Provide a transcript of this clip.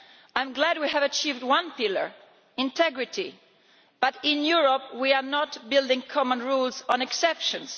I am glad we have achieved one pillar integrity but in Europe we are not building common rules on exceptions.